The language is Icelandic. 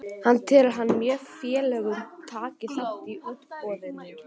Hvað telur hann að mörg félög taki þátt í útboðinu?